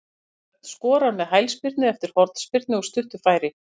Matthías Örn skorar með hælspyrnu eftir hornspyrnu úr stuttu færi.